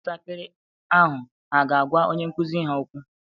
Ụmụntakịrị ahụ hà ga-agwa onye nkụzi ha okwu?